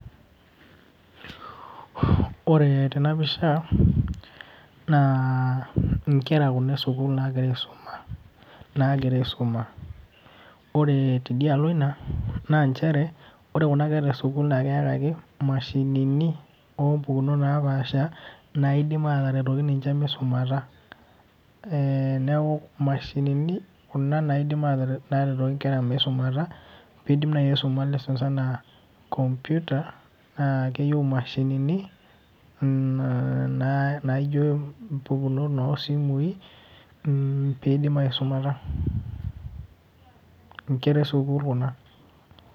Ore tenapisha, naa inkera kuna kuna esukuul nagira aisuma, nagira aisuma. Ore tidialo ina, naa njere, ore kuna kera esukuul nakeeta ake imashinini ompukunot napaasha, naifim ataretoki ninche misumata. Neeku imashinini kuna naidim ataret naretoki nkera misumata, pidim nai aisuma lessons enaa computer, naa keyieu imashinini, naijo impukunot osimui, pidim aisumata. Inkera esukuul kuna.